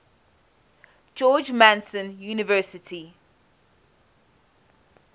george mason university